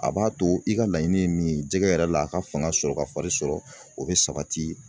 A b'a to i ka laɲini ye min ye jɛgɛ yɛrɛ la a ka fanga sɔrɔ ka fari sɔrɔ o bɛ sabati